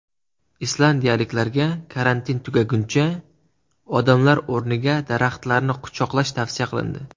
Islandiyaliklarga karantin tugaguncha odamlar o‘rniga daraxtlarni quchoqlash tavsiya qilindi.